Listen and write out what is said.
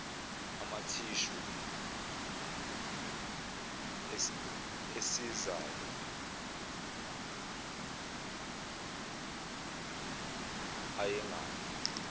amathishu esizalo awengane